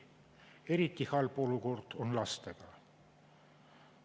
Eriti halb olukord on lastega.